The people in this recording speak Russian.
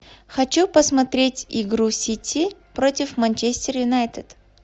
хочу посмотреть игру сити против манчестер юнайтед